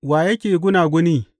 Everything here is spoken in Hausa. Wa yake gunaguni?